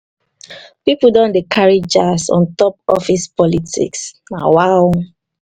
pipo don dey carry jazz on top office politics nawaoo.